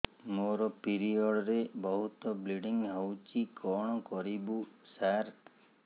ମୋର ପିରିଅଡ଼ ରେ ବହୁତ ବ୍ଲିଡ଼ିଙ୍ଗ ହଉଚି କଣ କରିବୁ ସାର